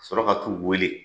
Ka sɔrɔ ka t'u weele.